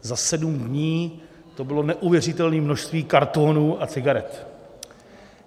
Za sedm dní to bylo neuvěřitelné množství kartonů a cigaret.